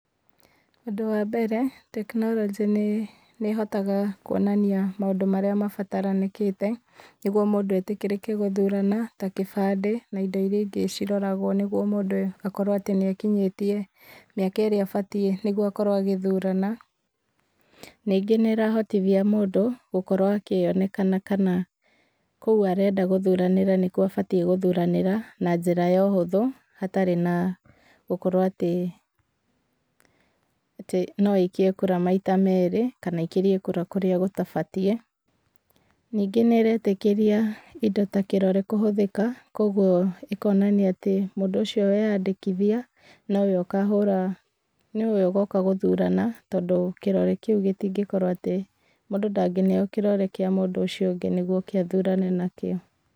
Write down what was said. Ũndũ wa mbere, tekinoronjĩ nĩ, nĩ hotaga, kuonania, maũndũ marĩa mabataranĩkĩte, nĩguo mũndũ etĩkĩrĩke gũthurana, ta gĩbandĩ, na indo iria ingĩ ciroragwo nĩguo mũndũ, akorwo atĩ nĩ akinyĩtie, mĩaka ĩrĩa ĩbatiĩ, nĩguo akorwo agĩthurana. Ningĩ nĩrahotithia mũndũ, gũkorwo akĩonekana kana, kũu arenda gũthuranĩra nĩkwo abatiĩ gũthuranĩra, na njĩra ya ũhũthũ, hatarĩ na, gũkorwo atĩ, atĩ no aikie kura maita merĩ, kana aikĩrie kura kũrĩa gũtabatiĩ. Ningĩ nĩretĩkĩria indo ta kĩrore kũhũthĩka, kwogwo, ĩkonania atĩ mũndũ ũcio weyandĩkithia, nowe ũkahũra, nowe ũgoka gũthurana, tondũ kĩrore kĩu gĩtingĩkorwo atĩ, mũndũ ndangĩneo kĩrore kĩa mũndũ ũcio ũngĩ nĩgwo oke athurane nakĩo.